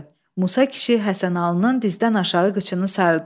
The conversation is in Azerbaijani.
Musa kişi Həsənalının dizdən aşağı qıçını sarıdı.